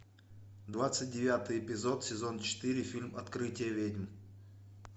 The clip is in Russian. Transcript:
двадцать девятый эпизод сезон четыре фильм открытие ведьм